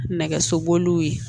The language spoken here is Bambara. Nɛgɛso boliw ye